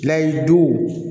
Layidu